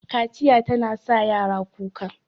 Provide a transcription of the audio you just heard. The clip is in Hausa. Kaciya tana sa yara kuka